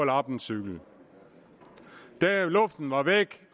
lappe en cykel luften var væk